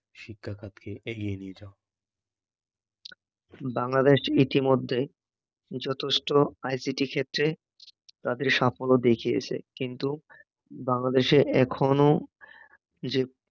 শিক্ষাখাতকে এগিয়ে নিয়ে যাওয়া বাংলাদেশ এতিমধ্যে যথেষ্ট আইসিটি ক্ষেত্রে তাদের সাফল্য দেখিয়েছে কিন্তু বাংলাদশেরএখনও যে